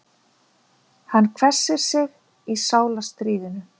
Hann hvessir sig í sálarstríðinu.